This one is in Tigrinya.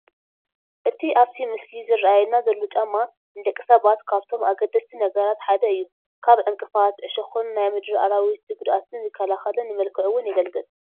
እቲ ኣብቲ ምስሊ ዝራኣየና ዘሎ ጫማ ንደቂ ሰባት ካብቶም ኣገደስቲ ነገራት ሓደ እዩ፡፡ ካብ ዕንቅፋት፣ ዕሾኽን ካብ ናይ ምድሪ ኣራዊት ጉድኣትን ይከላኸልን ንመልክዕ ውን የገልግል፡፡